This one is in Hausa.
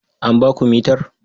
An ba ku mitar?